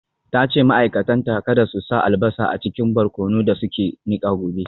Ta ce ma’aikatanta kada su sa albasa a cikin barkonon da suke nika gobe.